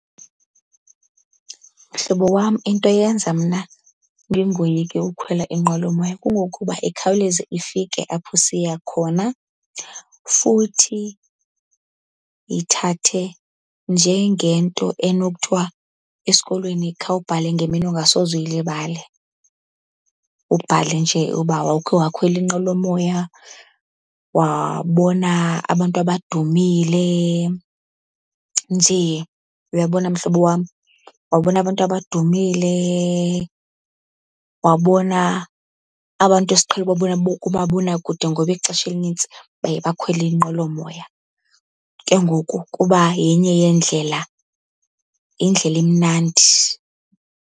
Mhlobo wam, into eyenza mna ndingoyiki ukhwela inqwelomoya kungokuba ikhawuleze ifike apho siya khona. Futhi yithathe njengento enokuthiwa esikolweni khawubhale ngemini ongasoze uyilibale, ubhale nje uba wawukhe wakhwela inqwelomoya wabona abantu abadumile nje. Uyabona mhlobo wam? Wabona abantu abadumile, wabona abantu esiqhele ubabona kumabonakude, ngoba ixesha elinintsi baye bakhwele inqwelomoya ke ngoku kuba yenye yeendlela indlela emnandi.